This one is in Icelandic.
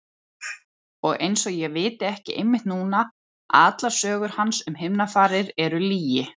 Og einsog ég viti ekki einmitt núna að allar sögur hans um himnafarir eru lygi.